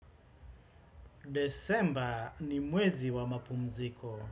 Desemba ni mwezi wa mapumziko.